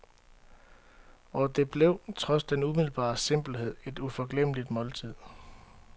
Og det blev, trods den umiddelbare simpelhed, et uforglemmeligt måltid.